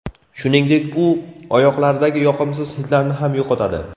Shuningdek u oyoqlardagi yoqimsiz hidlarni ham yo‘qotadi.